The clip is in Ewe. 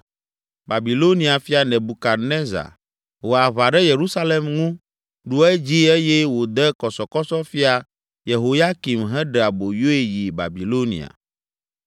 Babilonia fia, Nebukadnezar, ho aʋa ɖe Yerusalem ŋu, ɖu edzi eye wòde kɔsɔkɔsɔ Fia Yehoyakim heɖe aboyoe yi Babilonia.